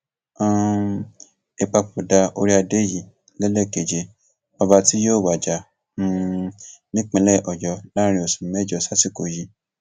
um ìpapòdà orí adé yìí lélẹkẹjẹ ọba tí yóò wájà um nípìnlẹ ọyọ láàrin oṣù mẹjọ sásìkò yìí